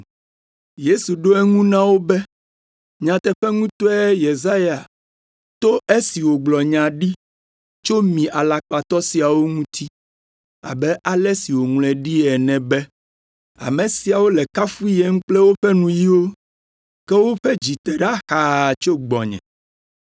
Yesu ɖo eŋu na wo be, “Nyateƒe ŋutɔe Yesaya to esi wògblɔ nya ɖi tso mi alakpatɔ siawo ŋuti; abe ale si woŋlɔe ɖi ene be, “ ‘Ame siawo le kafuyem kple woƒe nuyiwo, ke woƒe dzi te ɖa xaa tso gbɔnye.